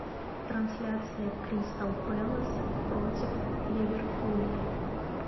трансляция кристал пэлас против ливерпуля